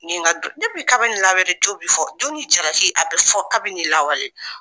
Ne ye nka kabini lawale tu bi fɔ, jo ni jalaki a bɛ fɔ kabini lawale.